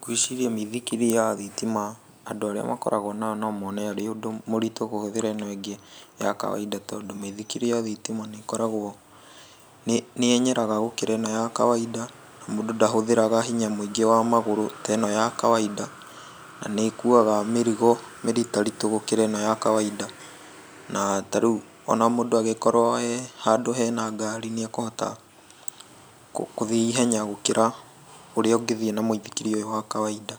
Ngwĩciria mĩithikiria ya thitima andũ arĩa makoragwo nayo no mone arĩ ũritũ kũhũthĩra ĩno ĩngĩ ya kawaida tondũ mĩithikiri ya thitima nĩkoragwo, nĩyenyeraga gũkĩra ĩno ya kawaida, na mũndũ ndahũthĩraga hinya mũingĩ wa magũrũ ta ĩno ya kawaida. Nĩkuaga mĩrigo mĩritaritũ gũkĩra ĩno ya kawaida, na tarĩu ona mũndũ angĩkorwo e handũ hena ngari nĩekũhota gũthiĩ ihenya gũkĩra ũrĩa ũngĩthiĩ na mũithikiri ũyũ wa kawaida,